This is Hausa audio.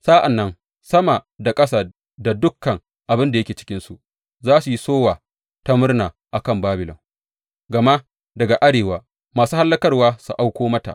Sa’an nan sama da ƙasa da dukan abin da yake cikinsu, za su yi sowa ta murna a kan Babilon, gama daga arewa masu hallakarwa su auko mata,